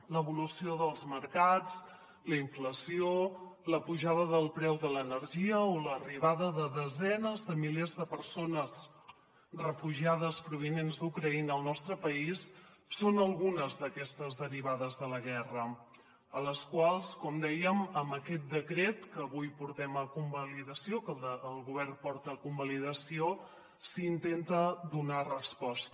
l’evolució dels mercats la inflació la pujada del preu de l’energia o l’arribada de desenes de milers de persones refugiades provinents d’ucraïna al nostre país són algunes d’aquestes derivades de la guerra a les quals com dèiem amb aquest decret que avui portem a convalidació que el govern porta a convalidació s’intenta donar resposta